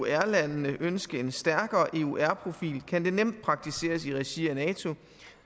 eur lande ønske en stærkere eur profil kan det nemt praktiseres i regi af nato